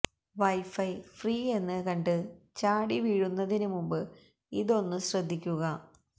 wifi free എന്ന് കണ്ട് ചാടി വീഴുന്നതിന് മുൻപ് ഇതൊന്നു ശ്രദ്ധിക്കുക